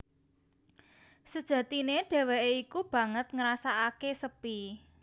Sejatine dhéwéké iku banget ngrasakaké sepi